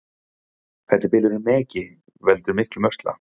Fellibylurinn Megi veldur miklum usla